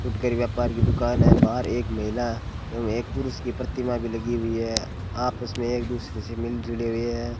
फुटकर व्यापार की दुकान है बाहर एक महिला एवं एक पुरुष की प्रतिमा भी लगी हुई है आपस में एक दूसरे से मिल जुड़े हुए हैं।